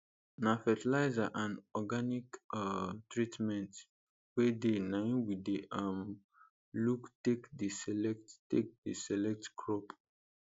na fertilizer and organic um treatment wey dey naim we dey um look take dey select take dey select crop